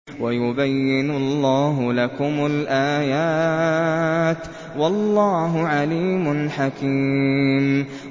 وَيُبَيِّنُ اللَّهُ لَكُمُ الْآيَاتِ ۚ وَاللَّهُ عَلِيمٌ حَكِيمٌ